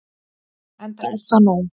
Enda er það nóg.